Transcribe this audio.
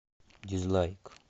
дизлайк